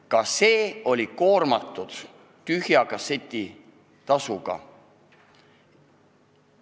Ka see tegevus oli koormatud tühja kasseti tasuga.